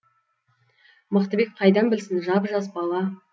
мықтыбек қайдан білсін жап жас бала